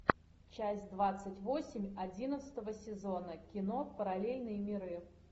часть двадцать восемь одиннадцатого сезона кино параллельные миры